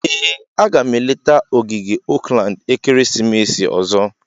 Ee, a ga m eleta ogige Oakland ekeresimesi ọzọ.